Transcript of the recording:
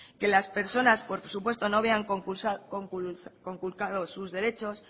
que las personas por supuesto no vean conculcados sus derechos